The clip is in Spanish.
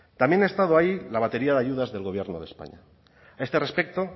también ha estado ahí la batería de ayudas del gobierno de españa a este respecto